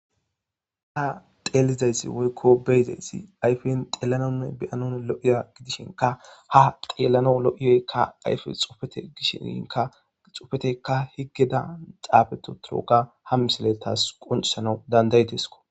ha xeelizayssi woykko beyizayssi ayfen xeellanonne beyanon lo7iya gidishinka ha xeellano lo7iyoykka ayfe xufete gishiinka xofetekka higgeda xaabeto torooka ha misile taas qoncisana dandaytesko